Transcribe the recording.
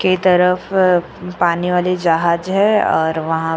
के तरफ पानी वाली जहाज है और वहाँ --